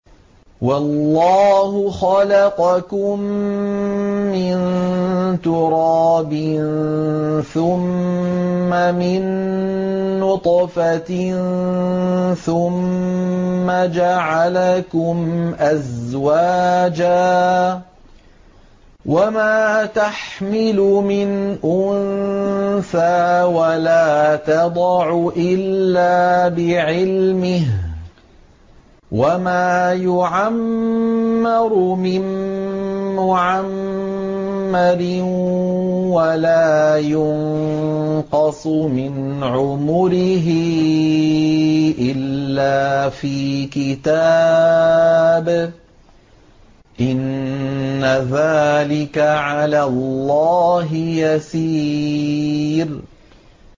وَاللَّهُ خَلَقَكُم مِّن تُرَابٍ ثُمَّ مِن نُّطْفَةٍ ثُمَّ جَعَلَكُمْ أَزْوَاجًا ۚ وَمَا تَحْمِلُ مِنْ أُنثَىٰ وَلَا تَضَعُ إِلَّا بِعِلْمِهِ ۚ وَمَا يُعَمَّرُ مِن مُّعَمَّرٍ وَلَا يُنقَصُ مِنْ عُمُرِهِ إِلَّا فِي كِتَابٍ ۚ إِنَّ ذَٰلِكَ عَلَى اللَّهِ يَسِيرٌ